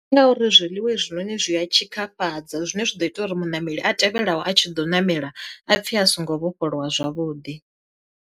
Ndi ngauri zwiḽiwa hezwinoni zwi a tshikafhadza zwine zwa ḓo ita uri muṋameli a tevhelaho a tshi ḓo ṋamela, a pfhe a songo vhofholowa zwavhuḓi.